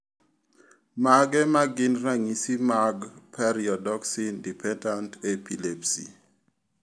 Mage magin ranyisi mag Pyridoxine dependent epilepsy?